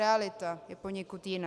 Realita je poněkud jiná.